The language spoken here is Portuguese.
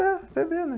É, para você ver, né?